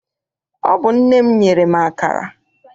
Ọ bụ nne m nyere m akara.